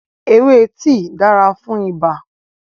Ewé tíì dára fún ibà